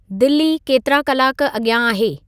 दिल्ली केतिरा कलाक अॻियां आहे